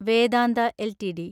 Vedanta LTD